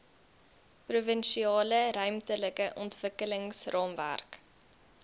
provinsiale ruimtelike ontwikkelingsraamwerk